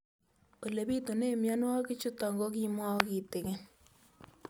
Ole pitune mionwek chutok ko kimwau kitig'�n